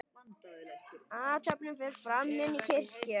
Athöfnin fer fram inni í kirkju.